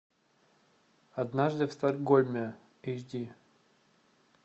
однажды в стокгольме эйч ди